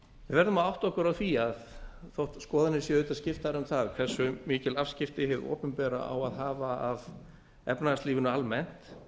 verðum að átta okkur á því að þó skoðanir séu auðvitað skiptir um það hversu mikil afskipti hið opinbera á að hafa á efnahagslífinu almennt